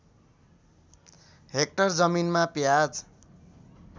hectare जमिनमा प्याज